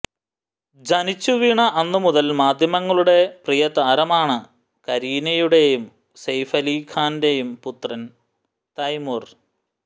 ജനിച്ചു വീണ അന്നുമുതൽ മാധ്യമങ്ങളുടെ പ്രിയതാരമാണ് കരീനയുടെയും സെയ്ഫ് അലി ഖാന്റെയും പുത്രൻ തൈമുർ